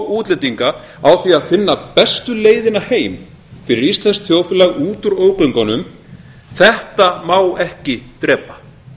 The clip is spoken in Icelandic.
útlendinga á því að finna bestu leiðina heim fyrir íslenskt þjóðfélag út úr ógöngunum þetta má ekki drepa